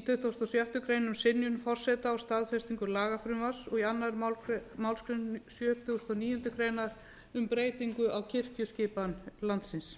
í tuttugasta og sjöttu grein um synjun forseta á staðfestingu lagafrumvarps og í annarri málsgrein sjötugustu og níundu grein um breytingu á kirkjuskipan landsins